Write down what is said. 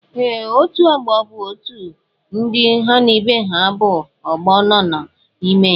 Ee, otú ọgbọ bụ otú ndị ha na ibe ha bú ọgbọ nanọ n'ime ya.